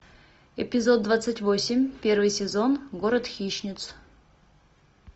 эпизод двадцать восемь первый сезон город хищниц